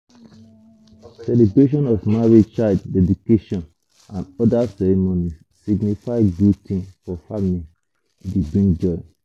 celebration of marriage child deedication and oda ceremonies signify good thing for family e dey bring joy